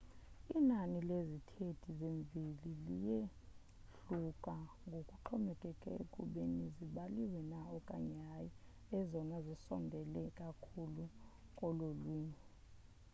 inani lezithethi zemveli liyehluka ngokuxhomekeka ekubeni zibaliwe na okanye hayi ezona zisondele kakhulu kololwimi